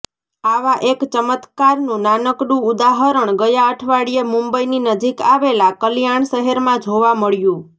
આવા એક ચમત્કારનું નાનકડું ઉદાહરણ ગયા અઠવાડિયે મુંબઈની નજીક આવેલા કલ્યાણ શહેરમાં જોવા મળ્યું